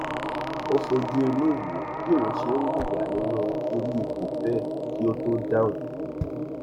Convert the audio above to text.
ó fojúinú wo bí òhun ó ṣe hùwà nínú irú ipò bẹẹ kí ó tó dáhùn